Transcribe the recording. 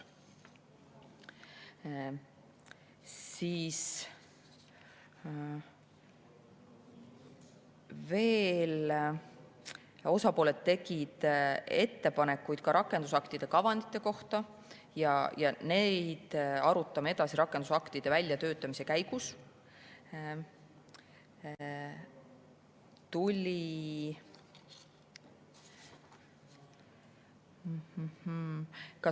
Osapooled tegid ettepanekuid ka rakendusaktide kavandite kohta ja neid arutame edasi rakendusaktide väljatöötamise käigus.